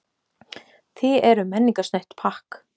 Þið eruð menningarsnautt pakk.